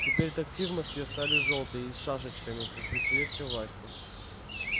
теперь такси в москве стали жёлтые и с шашечками как при советской власти